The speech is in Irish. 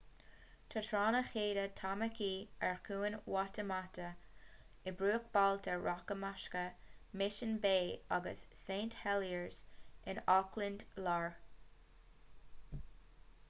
tá tránna chéide tamaki ar chuan waitemata i mbruachbhailte rachmasacha mission bay agus st heliers in auckland láir